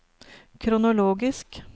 kronologisk